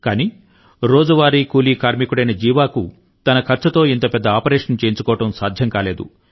కానీ రోజువారీ కూలీ కార్మికుడైన జీవాకు తన ఖర్చుతో ఇంత పెద్ద ఆపరేషన్ చేయించుకోవడం సాధ్యం కాలేదు